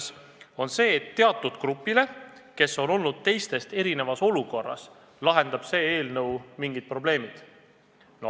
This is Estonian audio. See on väide, et teatud grupil, kes on olnud teistest erinevas olukorras, lahendab see eelnõu mingid probleemid.